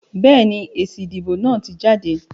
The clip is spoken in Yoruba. Béèni, èsì ìdìbò náà ti jáde